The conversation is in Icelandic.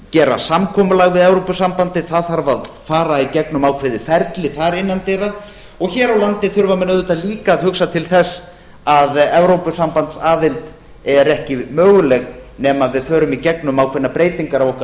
gera samkomulag við evrópusambandið það þarf að fara í gegnum ákveðið ferli þar innan dyra og hér á landi þurfa menn auðvitað líka að hugsa til þess að evrópusambandsaðild er ekki möguleg nema að við förum í gegnum ákveðnar breytingar á okkar